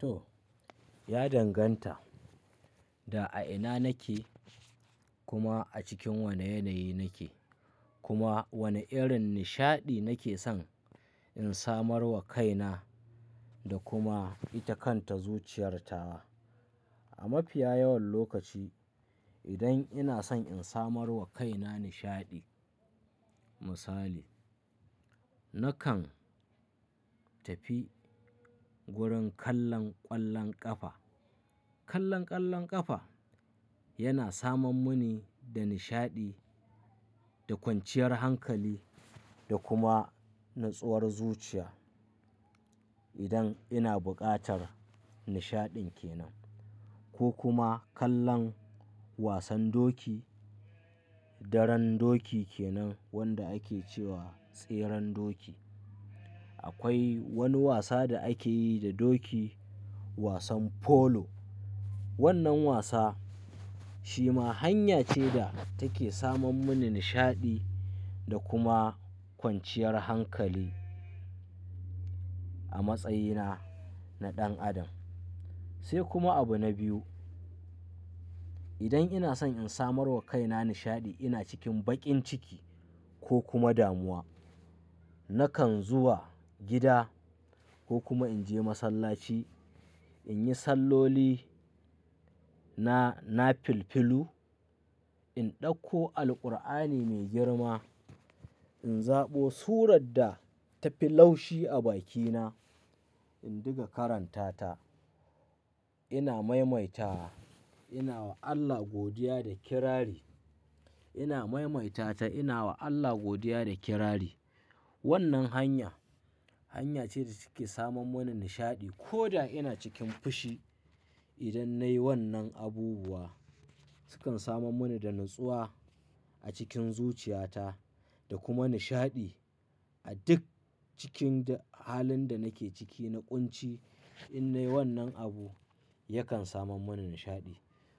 To, ya danganta da a ina nake, kuma a cikin wane yanayi nake, kuma wane irin nishaɗi nake son in samarwa kaina da kuma ita kanta zuciyar tawa. A mafiya yawan lokaci, idan ina son in samarwa kaina nishaɗi, misali, na kan tafi wurin kallon ƙwallon ƙafa. Kallon ƙwallon ƙafa yana samam munni da nishaɗi da kwanciyar hankali da kuma natsuwar zuciya. Idan ina buƙatar nishaɗin kenan ko kuma kallon wasan doki, daren doki kenan wanda ake ce wa tseren doki. Akwai wani wasa da ake yi da doki, wasan polo. Wannan wasa shi ma hanya ce da take samam muni nishaɗi da kuma kwanciyar hankali a matsayina na ɗan adam. Sai kuma abu na biyu, idan ina son in samarwa kaina nishaɗi, ina cikin baƙin ciki ko kuma damuwa, na kan zuwa gida ko kuma in je masallaci, in yi salloli na, na filfilu, in ɗauko Alqur'ani mai girma, in zaɓo surar da ta fi laushi a bakina, in diga karanta ta. Ina maimaita, ina wa Allah godiya da kirari. Ina maimaita ta, ina wa Allah godiya da kirari. Wannan hanya, hanya ce da take samam muni nishaɗi. Ko da ina cikin fushi, idan nayi wannan abubuwa, sukan samam muni da natsuwa a cikin zuciyata da kuma nishaɗi a duk cikin da halin da nake ciki na ƙunci. In nayi wannan abu, yakan samam munni nishaɗi.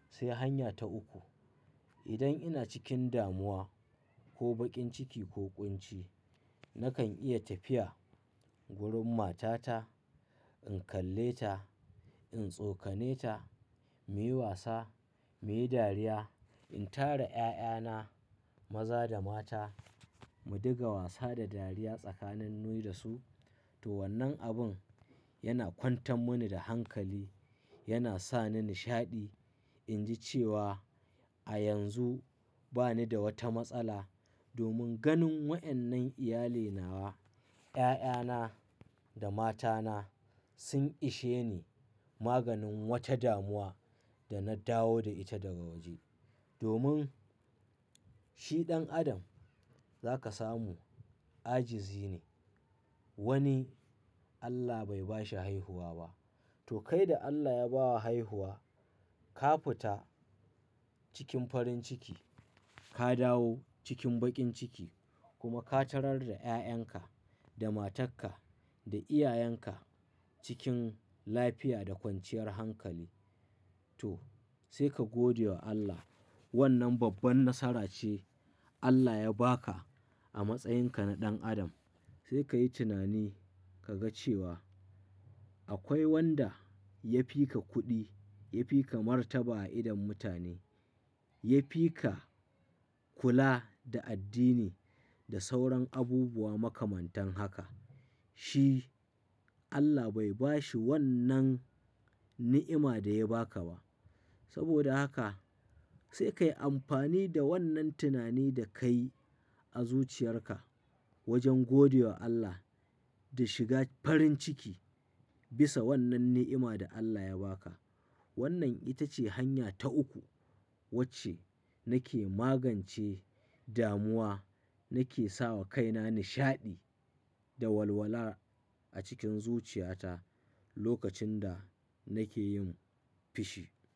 Sai hanya ta uku, idan ina cikin damuwa ko baƙin ciki ko ƙunci, na kan iya tafiya wurin matata, in kalle ta, in tsokane ta, muyi wasa, muyi dariya, in tara 'ya'yana maza da mata, mu diga wasa da dariya tsakanin ni da su. To wannan abun yana kwantan muni da hankali, yana sa ni nishaɗi, in ji cewa a yanzu ba ni da wata matsala domin ganin wa'yannan iyalina wa, 'ya'yana da matana sun ishe ni maganin wata damuwa da na dawo da ita daga waje. Domin shi ɗan adam za ka samu ajizi ne. Wani Allah bai bashi haihuwa ba. To kai da Allah ya bawa haihuwa, ka fita cikin farin ciki, ka dawo cikin baƙin ciki kuma ka tarar da 'ya'yanka, da matarka, da iyayenka cikin lafiya da kwanciyar hankali. To, sai ka godewa Allah. Wannan babban nasara ce Allah ya ba ka a matsayinka na ɗan adam. Sai ka yi tunani ka ga cewa akwai wanda ya fi ka kuɗi, ya fi ka martaba a idon mutane, ya fi ka kula da addini da sauran abubuwa makamantan haka. Shi Allah bai bashi wannan ni'ima da ya ba ka ba. Saboda haka sai ka yi amfani da wannan tunani da ka yi a zuciyarka wajen gode wa Allah da shiga farin ciki bisa wannan ni'ima da Allah ya ba ka. Wannan ita ce hanya ta uku wacce nake magance damuwa, nake sawa kaina nishaɗi da walwala a cikin zuciyata lokacin da nake yin fushi.